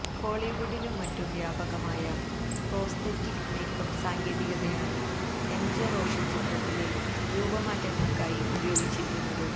ഹോളിവുഡിലും മറ്റും വ്യാപകമായ prosthetic makeup സാങ്കേതികതയാണ് എം ജെ റോഷൻ ചിത്രത്തിലെ രൂപമാറ്റങ്ങൾക്കായി ഉപയോഗിച്ചിരിക്കുന്നത്